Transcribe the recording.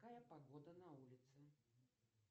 какая погода на улице